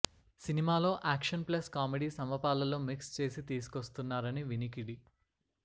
సినిమాలో action plus comedy సమపాళ్ళలో mix చేసి తీసుకొస్తున్నారని వినికిడి